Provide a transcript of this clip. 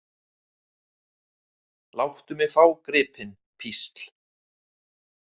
Láttu mig fá gripinn, písl.